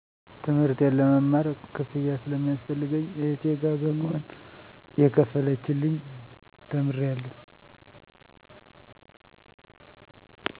ትምህርቴን ለመማር ክፍያ ስለሚያስፈልገኝ እህቴ ጋ በመሆን እየከፈለችልኝ ተምሬአለሁ